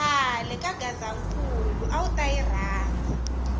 khale ka gazankulu awuta yi rhandza